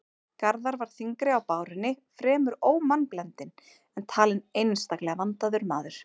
Garðar var þyngri á bárunni, fremur ómannblendinn, en talinn einstaklega vandaður maður.